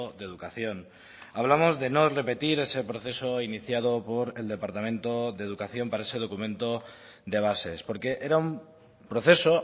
de educación hablamos de no repetir ese proceso iniciado por el departamento de educación para ese documento de bases porque era un proceso